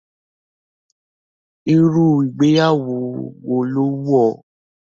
Irú ìgbéyàwó wo ló wù ọ́?